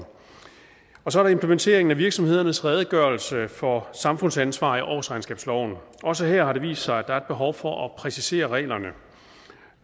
så er der implementeringen af virksomhedernes redegørelse for samfundsansvar i årsregnskabsloven også her har det vist sig at der er et behov for at præcisere reglerne